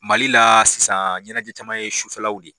Mali la sisan ɲɛnajɛ caman ye sufɛ law de ye.